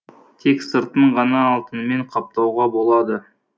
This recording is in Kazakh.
тек сыртын ғана алтынмен қаптауға болады